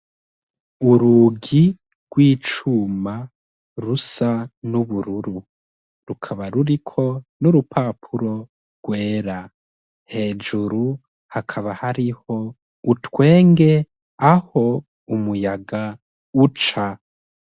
urugi rw'icuma rusa n'ubururu rukaba ruriko n'urupapuro rwera hejuru hakaba hariho utwenge aho umuyaga uca